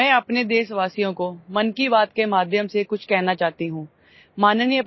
मैं अपने देशवासियों को मन की बात के माध्यमसे कुछ कहना चाहती हूं